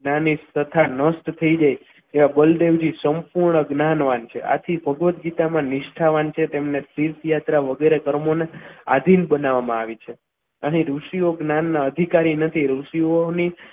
જ્ઞાની તથા નષ્ટ થઈ જાય એવા જ બળદેવજી સંપૂર્ણ જ્ઞાન છે આથી ભગવદ ગીતામાં નિષ્ઠા વાંચે તેમને તીર્થયાત્રા વગેરે કર્મોને આધીન બનાવવામાં આવી છે અહીં ઋષિઓ જ્ઞાનના અધિકારી નથી ઋષિઓની